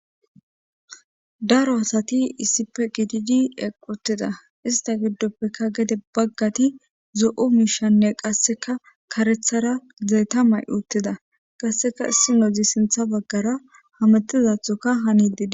Daro asati issipe gididi equtida ista giddoppeka gede baggati zo7u miishanne qasseka karethara zeeta may uttida qasseka issi nozi sintha baggara hamettizathoka hani dida.